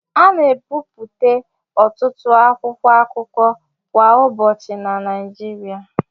A na-ebipụta ọtụtụ akwụkwọ akụkọ kwa ụbọchị na Naịjirịa